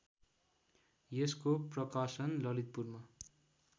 यसको प्रकाशन ललितपुरमा